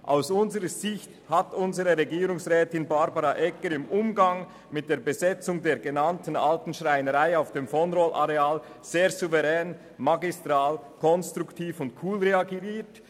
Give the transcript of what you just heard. Aus unserer Sicht hat unsere Regierungsrätin Barbara Egger im Umgang mit der Besetzung der Alten Schreinerei auf dem vonRoll-Areal sehr souverän, magistral, konstruktiv und cool reagiert.